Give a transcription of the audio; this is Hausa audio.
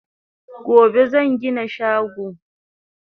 Gobe zan gina shago